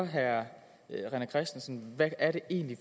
herre rené christensen hvad er det egentlig